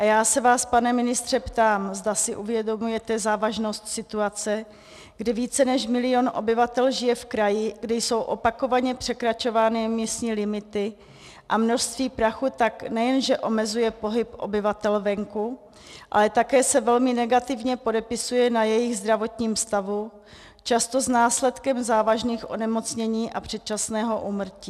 A já se vás, pane ministře, ptám, zda si uvědomujete závažnost situace, kdy více než milion obyvatel žije v kraji, kde jsou opakovaně překračovány místní limity, a množství prachu tak nejenže omezuje pohyb obyvatel venku, ale také se velmi negativně podepisuje na jejich zdravotním stavu, často s následkem závažných onemocnění a předčasného úmrtí.